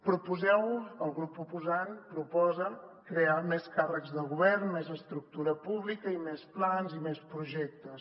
proposeu el grup proposant ho proposa crear més càrrecs de govern més estructura pública i més plans i més projectes